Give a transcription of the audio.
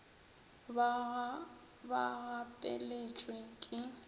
ba ga ba gapeletšwe ke